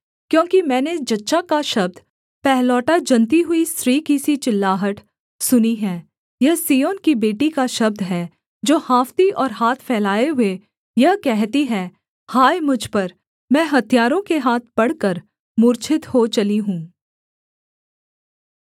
क्योंकि मैंने जच्चा का शब्द पहिलौठा जनती हुई स्त्री की सी चिल्लाहट सुनी है यह सिय्योन की बेटी का शब्द है जो हाँफती और हाथ फैलाए हुए यह कहती है हाय मुझ पर मैं हत्यारों के हाथ पड़कर मूर्छित हो चली हूँ